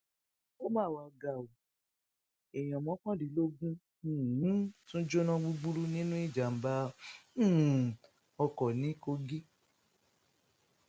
ó mà wàá ga ọ èèyàn mọkàndínlógún um tún jóná gbúgbúrú nínú ìjàmbá um oko ní kogi